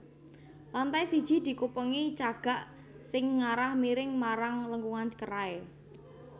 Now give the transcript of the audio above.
Lantai siji dikupengi cagak sing ngarah miring marang lengkungan kerai